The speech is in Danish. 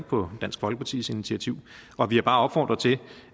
på dansk folkepartis initiativ og vi har bare opfordret til